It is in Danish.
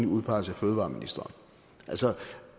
udpeget af fødevareministeren altså